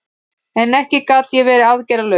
En ekki gat ég verið aðgerðalaus.